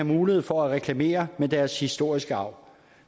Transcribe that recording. mulighed for reklamere med deres historiske arv